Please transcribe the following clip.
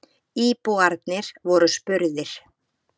Íbúarnir voru spurðir.